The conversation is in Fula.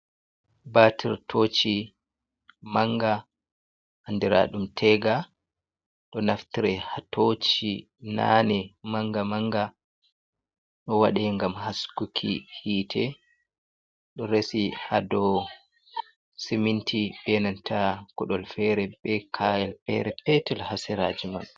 Batir toci, manga andira ɗum tega, ɗo naftire ha toci nane manga manga ɗo waɗe gam haskuki hite, ɗo resi ha dou siminti, ɓe nanta kuɗol fere, be kayell fere petel ha seraji mai.